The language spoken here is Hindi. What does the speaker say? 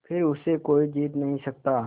फिर उसे कोई जीत नहीं सकता